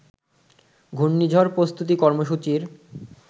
ঘূর্ণিঝড় প্রস্তুতি কর্মসূচির